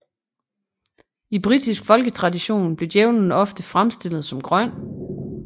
I britisk folketradition blev Djævelen ofte fremstillet som grøn